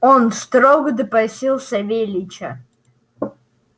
он строго допросил савельича